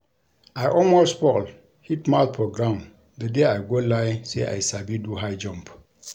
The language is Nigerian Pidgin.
I almost fall hit mouth for ground the day I go lie say I sabi do high jump